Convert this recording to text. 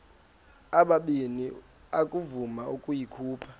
ubabini akavuma ukuyikhupha